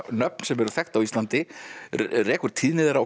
nöfn sem eru þekkt á Íslandi rekur tíðni þeirra og